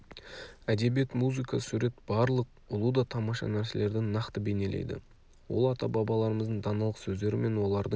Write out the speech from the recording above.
әдебиет музыка сурет барлық ұлы да тамаша нәрселерді нақты бейнелейді ол ата-бабаларымыздың даналық сөздері мен олардың